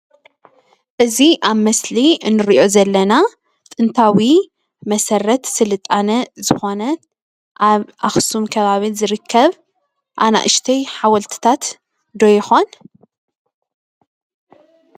እዚ ኣብ ምስሊ እንሪኦ ዘለና ጥንታዊ መሰረት ስልጣነ ዝኾነ ኣብ ኣኽሱም ከባቢ ዝርከብ ኣናእሽተይ ሓወልትታት ዶ ይኾን?